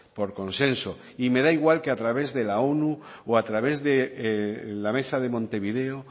por consenso y me da igual que a través de la onu o a través de la mesa de montevideo